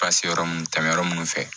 Ka se yɔrɔ mun tɛmɛn yɔrɔ munnu fɛ